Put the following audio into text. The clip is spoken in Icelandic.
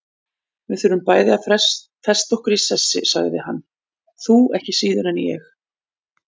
Við þurfum bæði að festa okkur í sessi, sagði hann, þú ekki síður en ég.